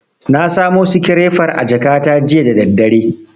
Na samo sikirefar a jakata jiya da daddare.